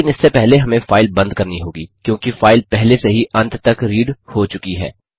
लेकिन इससे पहले हमें फाइल बंद करनी होगी क्योंकि फाइल पहले से ही अंत तक रीड हो चुकी है